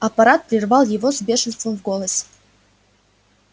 аппарат прервал его с бешенством в голосе